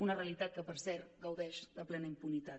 una realitat que per cert gaudeix de plena impunitat